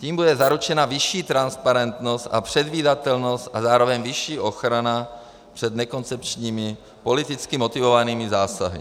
Tím bude zaručena vyšší transparentnost a předvídatelnost a zároveň vyšší ochrana před nekoncepčními, politicky motivovanými zásahy.